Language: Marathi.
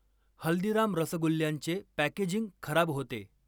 हल्दीराम रसगुल्ल्यांचे पॅकेजिंग खराब होते.